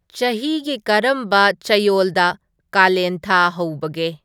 ꯆꯍꯤꯒꯤ ꯀꯔꯝꯕ ꯆꯌꯣꯜꯗ ꯀꯂꯦꯟ ꯊꯥ ꯍꯧꯕꯒꯦ